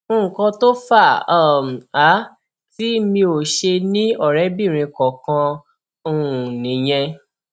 nǹkan tó fà um á tí mi ò ṣe ní ọrẹbìnrin kankan um nìyẹn